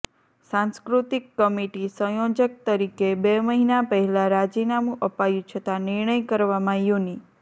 સાંસ્કૃતિક કમિટી સંયોજક તરીકે બે મહિના પહેલા રાજીનામું અપાયુું છતાં નિર્ણય કરવામાં યુનિ